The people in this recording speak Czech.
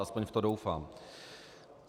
Aspoň v to doufám.